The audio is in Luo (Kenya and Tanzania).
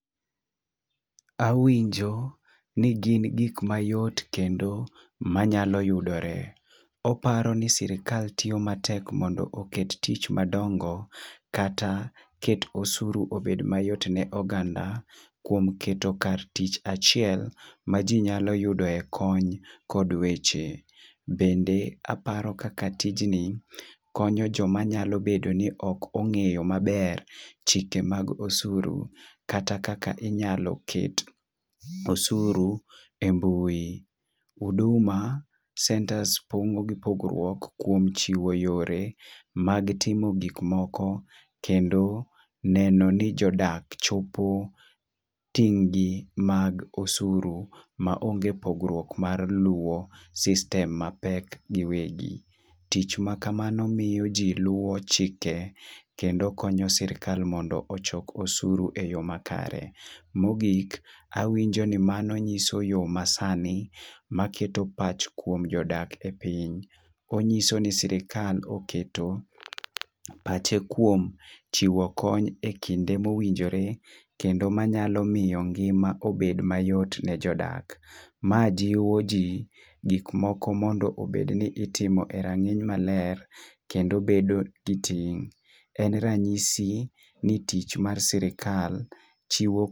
Awinjo ni gin gik mayot kendo manyalo yudore . Oparo ni sirikal tiyo matek mondo oket tich madongo kata ket osuru obed mayot ne oganda kuom keto kar tich achiel ma jii nyalo yudoe kony kod weche. Bende aparo kaka tijni konyo joma nyalo bedo ni ok ong'eyo maber chike mag osuru kata kaka inyalo ket osuru e mbui. Huduma centers pogo gi pogruok kuom chiwo yore mag timo gik moko kendo neno ni jodak chopo tijni mag osuru ma onge pogruok mar luwo system mapek giwegi. Tich machal kamano miyo ji luwo chike kendo konyo sirikal mondo ochok osuru e yoo makare .Mogik winjo ni mano nyiso yoo masani maketo pach kuom jodak e piny onyiso ni sirika oketo pache kuom chiwo kony e kinde mowinjore kendo manyalo miyo ngima obed mayot ne jodak. Ma jiwo jii gik moko mondo obed ni timo e rang'iny maler kendo bedo gi tim. En ranyisi ni tich mar sirikal chiwo